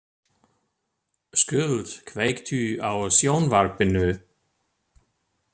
Skuld, kveiktu á sjónvarpinu.